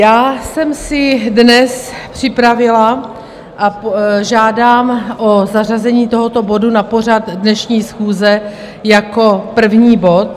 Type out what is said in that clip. Já jsem si dnes připravila a žádám o zařazení tohoto bodu na pořad dnešní schůze jako prvního bodu.